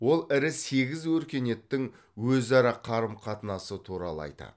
ол ірі сегіз өркениеттің өзара қарым қатынасы туралы айтады